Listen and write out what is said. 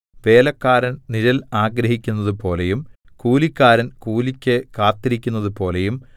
വേലക്കാരൻ നിഴൽ ആഗ്രഹിക്കുന്നതുപോലെയും കൂലിക്കാരൻ കൂലിക്ക് കാത്തിരിക്കുന്നതുപോലെയും